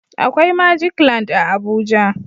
Akwai "magic land" a Abuja